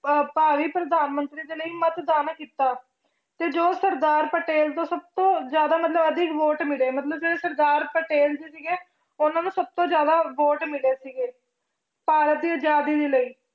ਪ੍ਰਧਾਨ ਮੰਤਰੀ ਦੇ ਲਈ ਮੱਤਦਾਨ ਕੀਤਾ ਤੇ ਜੋ ਸਰਦਾਰ ਪਟੇਲ ਤੋਂ ਸਭ ਤੋਂ ਜ਼ਿਆਦਾ ਮਤਲਬ ਅਧਿਕ ਵੋਟ ਮਿਲੇ ਮਤਲਬ ਜਿਹੜੇ ਸਰਦਾਰ ਪਟੇਲ ਜੀ ਸੀਗੇ ਉਹਨਾਂ ਨੂੰ ਸਭ ਤੋਂ ਜ਼ਿਆਦਾ ਵੋਟ ਮਿਲੇ ਸੀਗੇ ਭਾਰਤੀ ਦੀ ਆਜ਼ਾਦੀ ਦੇ ਲਈ